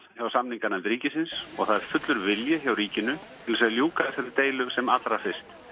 hjá samninganefnd ríkisins og það er fullur vilji hjá ríkinu til þess að ljúka deilunni sem allra fyrst